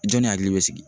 Jɔnni hakili bɛ sigi